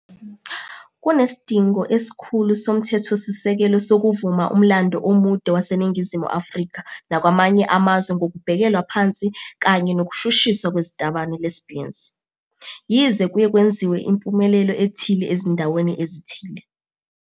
Kunesidingo esikhulu somthethosisekelo sokuvuma umlando omude waseNingizimu Afrika nakwamanye amazwe ngokubhekelwa phansi kanye nokushushiswa kwezitabane Lesbians, yize kuye kwenziwa impumelelo ethile ezindaweni ezithile.